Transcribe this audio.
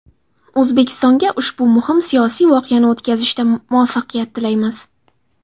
O‘zbekistonga ushbu muhim siyosiy voqeani o‘tkazishda muvaffaqiyat tilaymiz”.